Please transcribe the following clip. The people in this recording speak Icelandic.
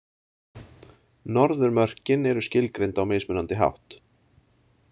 Norðurmörkin eru skilgreind á mismunandi hátt.